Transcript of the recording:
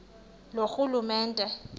loorhulumente